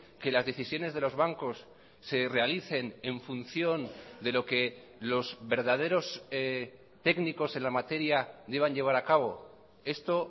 que las decisiones de los bancos se realicen en función de lo que los verdaderos técnicos en la materia deban llevar a cabo esto